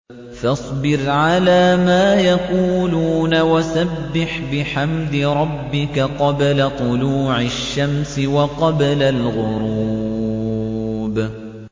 فَاصْبِرْ عَلَىٰ مَا يَقُولُونَ وَسَبِّحْ بِحَمْدِ رَبِّكَ قَبْلَ طُلُوعِ الشَّمْسِ وَقَبْلَ الْغُرُوبِ